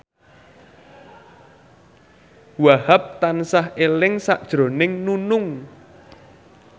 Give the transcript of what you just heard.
Wahhab tansah eling sakjroning Nunung